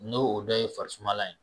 N'o o dɔ ye fari sumalan ye.